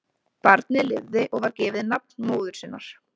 Barnið lifði og var gefið nafn móður sinnar.